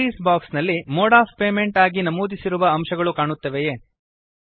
entries box ನಲ್ಲಿ mode of payments ಆಗಿ ನಮೂದಿಸಿರುವ ಅಂಶಗಳು ಕಾಣುತ್ತವೆಯೇ